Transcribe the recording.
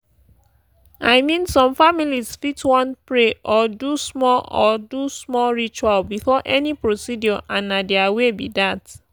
i mean some families fit wan pray or do small or do small ritual before any procedure and na their way be that.